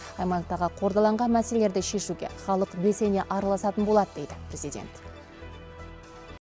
аймақтағы қордаланған мәселелерді шешуге халық белсене араласатын болады дейді президент